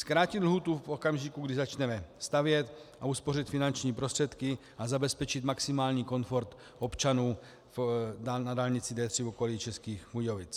Zkrátit lhůtu v okamžiku, kdy začneme stavět, uspořit finanční prostředky a zabezpečit maximální komfort občanů na dálnici D3 v okolí Českých Budějovic.